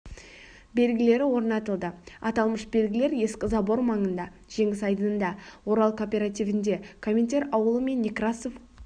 белгілері орнатылды аталмыш белгілер ескі собор маңында жеңіс айдыныда орал кооперативінде коминтер ауылы мен некрасов